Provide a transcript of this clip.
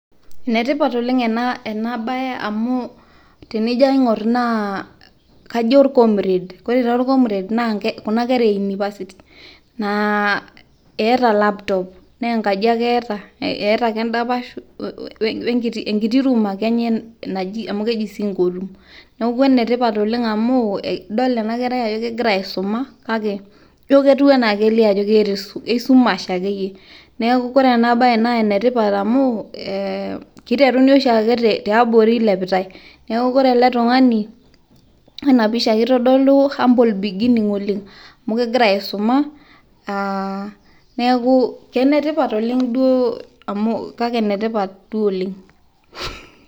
ene tipat oleng ena bae amu tenijo aing'or naa kajo or comrade ore taa or comrade naa kuna kera e unipasti. naa eeta laptop naaa enkaji ake eeta, eeta ake edapash, we nkiti room ake enye naji, amu keji singleroom neku ene tipat oleng, amu idol ena kerai ajo kegira aisuma, kake ijo ketiu anaa, anaa keeta isumash ake yie, neeku ore ena naa ene tipat amu kiteruni oshiake tiabori ilepitai, neeku ore ena pisha kitodolu humble beginning oleng amu kegira aisuma neeku ene tipat oleng amu, kake enetipat duo oleng.